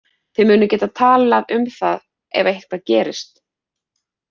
Þið munið geta talað um það ef eitthvað gerist.